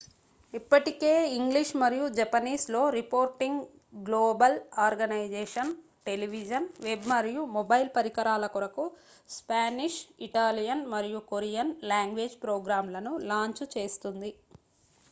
ఇప్పటికే ఇంగ్లిష్ మరియు జపనీస్ లో reporting global organisation television web మరియు మొబైల్ పరికరాల కొరకు స్పానిష్ ఇటాలియన్ మరియు కొరియన్-లాంగ్వేజ్ ప్రోగ్రామ్ లను లాంఛ్ చేస్తోంది